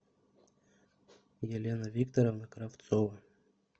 елена викторовна кравцова